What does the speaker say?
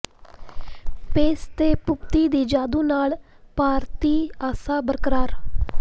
ਪੇਸ ਤੇ ਭੂਪਤੀ ਦੇ ਜਾਦੂ ਨਾਲ ਭਾਰਤੀ ਆਸਾਂ ਬਰਕਰਾਰ